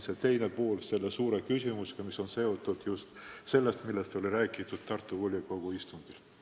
See on teine pool suurest küsimusest, millest räägiti Tartu volikogu istungil.